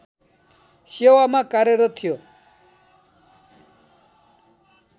सेवामा कार्यरत थियो